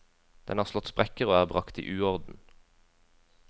Den har slått sprekker og er bragt i uorden.